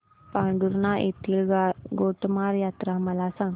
पांढुर्णा येथील गोटमार यात्रा मला सांग